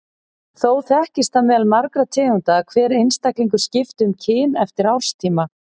Þó þekkist það meðal margra tegunda að hver einstaklingur skipti um kyn eftir árstíma.